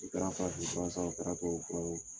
fura san o kɛra tubabu fura ye